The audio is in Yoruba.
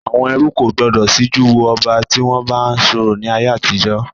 Àwọn ẹrú kò gbọdọ̀ síjú wo ọba tí wọn bá ń sọ̀rọ̀ ni ayé àtijọ́